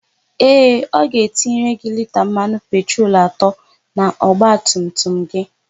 Ee, ọ ga-etinyere gị lita mmanụ petrol atọ n'ọgbatumtum gị.